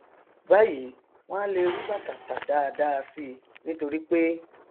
báyìí wọn a le rí bàtà tà dáadáa síi nítorípé